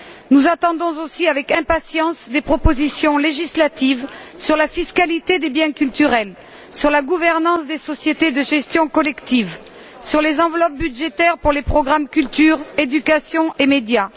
Nous attendons aussi avec impatience des propositions législatives sur la fiscalité des biens culturels, sur la gouvernance des sociétés de gestion collective, sur les enveloppes budgétaires pour les programmes relatifs à la culture, à l'éducation et aux média.